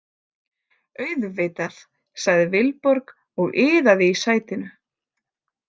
Auðvitað, sagði Vilborg og iðaði í sætinu.